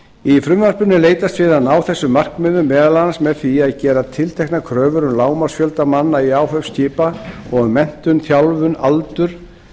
í frumvarpinu er leitast við að ná þessu markmiði meðal annars með því að gera tilteknar kröfur um lágmarksfjölda manna í áhöfn skipa og um menntun þjálfun aldur